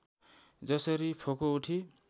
जसरी फोको उठी